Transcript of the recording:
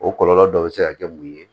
O kɔlɔlɔ dɔ bɛ se ka kɛ mun ye